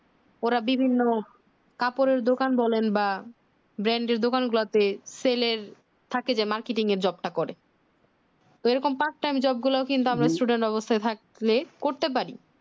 ওর বিভিন্ন কাপড়ের দোকান দোলেন বা branded দোকানে যাবে sell এর থাকে যে marketing এর job টা করে ওই রকম part time job গুলা কিন্তু students অবস্থায় থাকলে করতে পারি